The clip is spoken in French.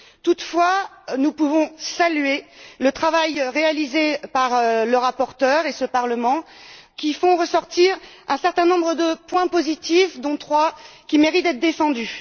Toutefois, nous pouvons saluer le travail réalisé par le rapporteur et par ce Parlement, qui font ressortir un certain nombre de points positifs, dont trois méritent d'être défendus.